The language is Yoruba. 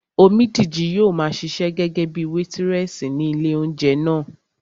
Omídìji yóò maa ṣiṣẹ́ gẹ́gẹ́bíi wétírẹ̀sì ní ilé óúnjẹ náà